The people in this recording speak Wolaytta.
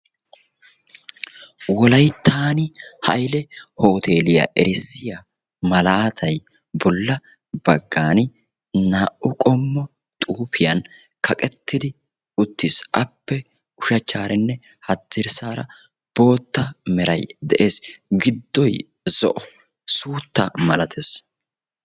wolayttan hayile hooteliyaa erissiyaa malaatay bolla baggaani naa"u qommo xuufiyaan kaqettidi uttis. appe ushshachcharanne haddirssaara bootta meray de'ees. giddoy zo'o suuttaa malattees.